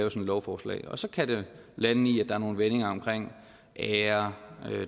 et lovforslag og så kan det lande i at der er nogle meninger omkring ære der